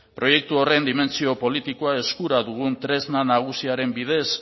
proiektu horren dimentsio politikoa eskura dugun tresna nagusiaren bidez